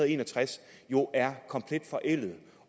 en og tres jo er komplet forældet